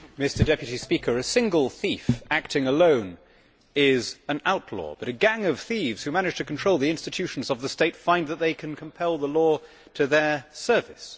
Mr President, a single thief acting alone is an outlaw but a gang of thieves who manage to control the institutions of the state find that they can compel the law to their service.